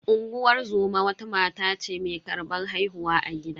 Unguwar zoma wata mata ce mai karbar haihuwa a gida.